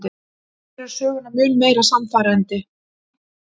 Gerir söguna mun meira sannfærandi.